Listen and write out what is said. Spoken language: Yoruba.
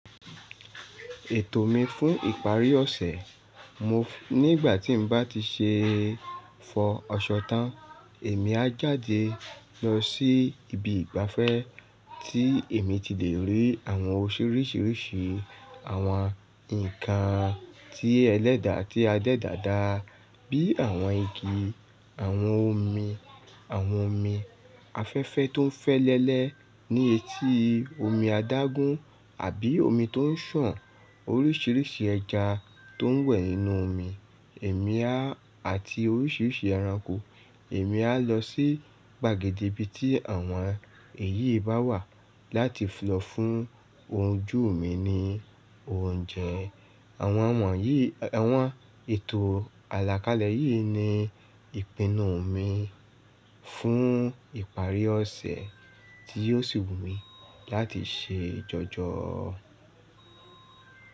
Ètò mi fún ìparí ọ̀sẹ̀, mo nígbà tí n bá ti ṣe fọ́ aṣọ tán, èmi á jáde lọ sí ibi ìgbafẹ́ tí èmi ti lè rí àwọn orisírìṣì, àwọn ǹkan tí ẹlẹ́dà tí adẹ́dà da bíi àwọn igi, àwọn omi, àwọn omi afẹ́fẹ́ tó ń fẹ́lẹ́lẹ́ ní etí omi adágún àbí omi tó ń sàn, oríṣiríṣi ẹja tó ń wẹ̀ nínú omi, èmi a àti oríṣiríṣi ẹranko. Èmi á lọ sí gbàgede ibi tí àwọn èyí bá wà láti lọ fún ojú mi ni oúnjẹ. Àwọn wọ̀nyí, àwọn ètò àlàkalẹ̀ yìí ni ìpinnu mi fún ìparí ọ̀sẹ̀ tí yóò sì wù mí láti ṣe jọjọ.